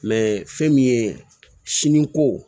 fɛn min ye siniko